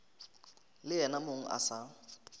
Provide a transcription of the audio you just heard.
le yena mong a sa